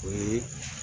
O ye